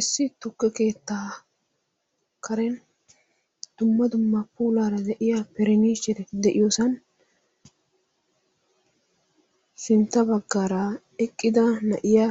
issi tukke keettaa karen dumma dumma puulaara de'iya parniichcheretti de'iyosan sintta bagaara eqqida na'iya